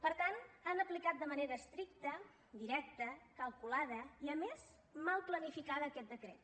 per tant han aplicat de manera estricta directa calculada i a més mal planificada aquest decret